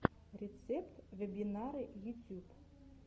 рецепт вебинары ютьюб